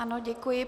Ano, děkuji.